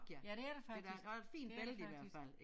Ja det er det faktisk det er det faktisk